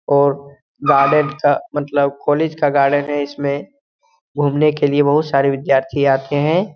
और गार्डन का मतलब कॉलेज का गार्डन है। इसमें घुमने के लिए बहुत सारे विद्यार्थी आते हैं।